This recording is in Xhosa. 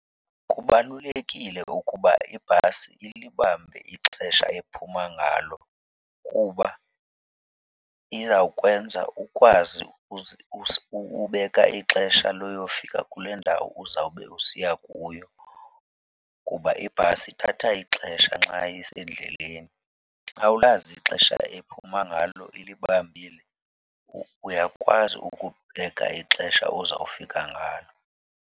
Kubalulekile ukuba ibhasi ilibambe ixesha ephuma ngalo kuba izawukwenza ukwazi ubeka ixesha loyofika kule ndawo uzawube usiya kuyo kuba ibhasi ithatha ixesha nxa isendleleni. Xa uwulazi ixesha ephuma ngalo, ilibambile, uyakwazi ukubeka ixesha ozawufika ngalo.